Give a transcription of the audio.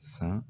San